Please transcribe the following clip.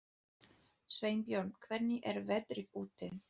Sveinbjörn, hvernig er veðrið úti?